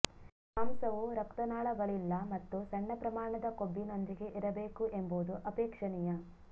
ಮಾಂಸವು ರಕ್ತನಾಳಗಳಿಲ್ಲ ಮತ್ತು ಸಣ್ಣ ಪ್ರಮಾಣದ ಕೊಬ್ಬಿನೊಂದಿಗೆ ಇರಬೇಕು ಎಂಬುದು ಅಪೇಕ್ಷಣೀಯ